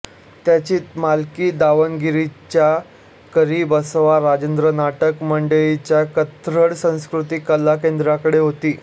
त्याची मालकी दावणगिरीच्या करी बसव राजेंद्र नाटक मंडळीच्या कन्नड संस्कृती कला केंद्राकडे होती